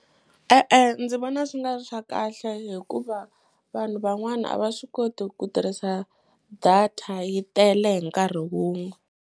E-e, ndzi vona swi nga ri swa kahle hikuva vanhu van'wana a va swi koti ku tirhisa data yi tele hi nkarhi wun'we.